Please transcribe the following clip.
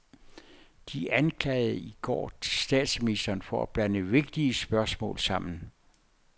De anklagede i går statsministeren for at blande vigtige spørgsmål sammen.